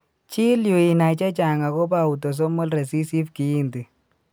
Chill yuu inai chechang agobo autosomal resessive kiinti.